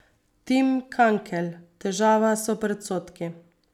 Tim Kankelj: 'Težava so predsodki.